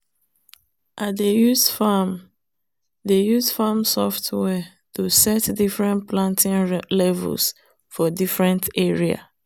i dey use farm dey use farm software to set different planting levels for different area.